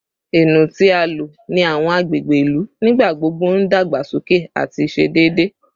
Eno ti a lo ni awọn agbegbe ilu nigbagbogbo n dagbasoke ati ṣe deede